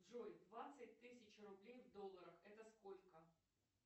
джой двадцать тысяч рублей в долларах это сколько